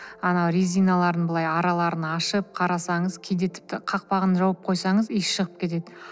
ана резиналарының былай араларын ашып қарасаңыз кейде тіпті қақпағын жауып қойсаңыз иісі шығып кетеді